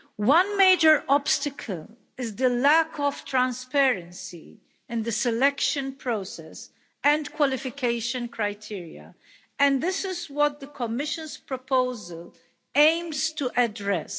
One major obstacle is the lack of transparency in the selection process and qualification criteria, and this is what the Commission's proposal aims to address.